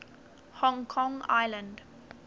hong kong island